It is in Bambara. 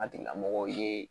A tigilamɔgɔw ye